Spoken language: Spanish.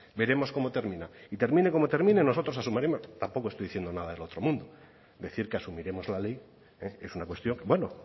veremos cómo termina y termine como termine nosotros asumiremos tampoco estoy diciendo nada del otro mundo decir que asumiremos la ley es una cuestión bueno